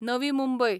Navi Mumbai